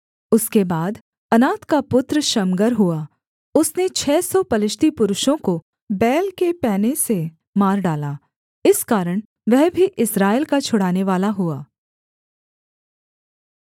उसके बाद अनात का पुत्र शमगर हुआ उसने छः सौ पलिश्ती पुरुषों को बैल के पैने से मार डाला इस कारण वह भी इस्राएल का छुड़ानेवाला हुआ